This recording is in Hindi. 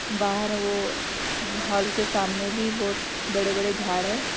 बाहर वो हॉल के सामने भी बहुत बड़े बड़े झाड़ है।